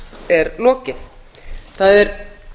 er lokið það er